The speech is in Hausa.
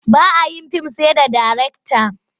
Ba a yin fim sai da darekta.